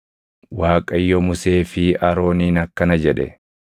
Waaqayyo Musee fi Arooniin akkana jedhe;